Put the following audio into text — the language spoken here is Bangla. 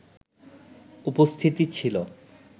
উপস্থিতি ছিল